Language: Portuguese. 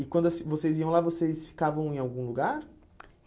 E quando assim vocês iam lá, vocês ficavam em algum lugar?